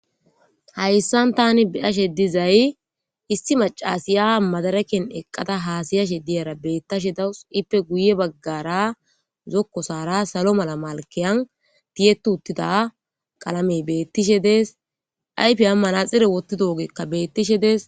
hayssan tani biyashe dizay issi macasiya madaraken eqqada haasayashe diyara bettashe dawus ippe guye baggara zokko saara salo mala malkeyan tiyettu uttida qalamey beettishe dees aypi ammana xire wottido ogekka bettishe dees